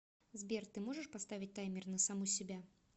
сбер ты можешь поставить таймер на саму себя